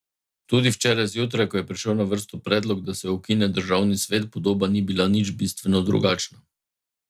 Tudi včeraj zjutraj, ko je prišel na vrsto predlog, da se ukine državni svet, podoba ni bila nič bistveno drugačna.